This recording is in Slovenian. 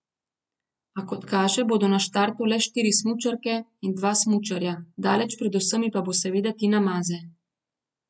A kot kaže, bodo na štartu le štiri smučarke in dva smučarja, daleč pred vsemi pa bo seveda Tina Maze.